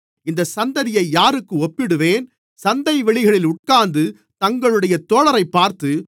இந்தச் சந்ததியை யாருக்கு ஒப்பிடுவேன் சந்தைவெளிகளில் உட்கார்ந்து தங்களுடைய தோழரைப் பார்த்து